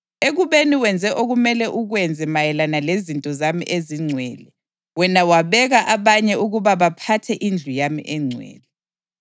Ekubeni wenze okumele ukwenze mayelana lezinto zami ezingcwele, wena wabeka abanye ukuba baphathe indlu yami engcwele.